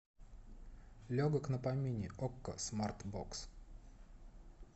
легок на помине окко смарт бокс